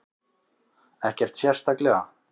Ekkert sérstaklega.